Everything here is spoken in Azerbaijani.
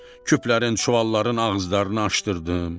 Küplərin, çuvalların ağızlarını açdırtdım.